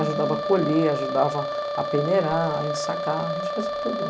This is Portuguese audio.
Ajudava a colher, ajudava a peneirar, a ensacar, a gente fazia tudo.